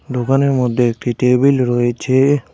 দোকানের মধ্যে একটি টেবিল রয়েছে।